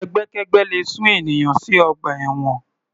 Ẹgbẹ́kẹ́gbẹ́ le sún ènìyàn sí ọgbà ẹ̀wọ̀n.